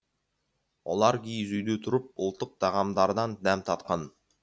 олар киіз үйде тұрып ұлттық тағамдардан дәм татқан